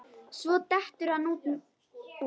Svo dettur hann út.